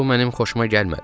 Bu mənim xoşuma gəlmədi.